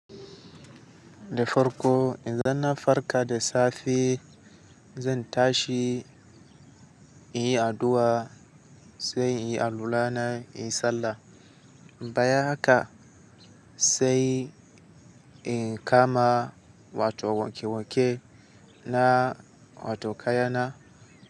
Da farko idan na farka da safe, zan tashi in yi addu'a sai in yi alula na, in yi sallah. Bayan haka sai in kama wato wanke-wanke na wato kaya na.